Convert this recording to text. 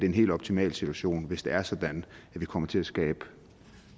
en helt optimal situation hvis det er sådan at vi kommer til at skabe